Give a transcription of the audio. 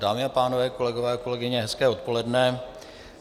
Dámy a pánové, kolegové a kolegyně hezké odpoledne.